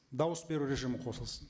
дауыс беру режимі қосылсын